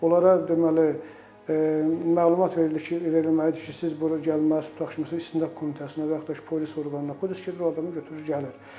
Onlara deməli məlumat verildi ki, verilməli idi ki, siz burda gəlməz tutaq ki, məsələn istintaq komitəsinə və yaxud da ki, polis orqanına, polis gedir o adamı götürür gəlir.